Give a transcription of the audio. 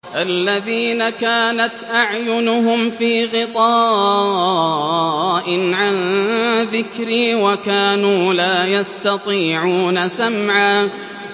الَّذِينَ كَانَتْ أَعْيُنُهُمْ فِي غِطَاءٍ عَن ذِكْرِي وَكَانُوا لَا يَسْتَطِيعُونَ سَمْعًا